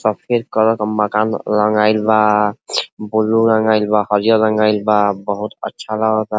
सफ़ेद कलर माकान रंगाइल बा। ब्लू रंगाइल बा। हरियर रंगाइल बा बहुत अच्छा लगता।